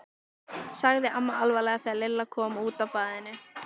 sagði amma alvarleg þegar Lilla kom út af baðinu.